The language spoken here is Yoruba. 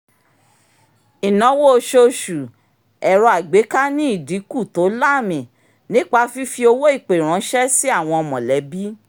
ìnáwó oṣooṣù ẹ̀rọ-àgbẹ́ká ní ìdínkù tó láàmì nípa fífi owó-ìpè ránṣẹ́ sí àwọn mọ̀lẹ́bí